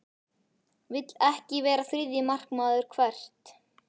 Vill ekki vera þriðji markvörður Hvert?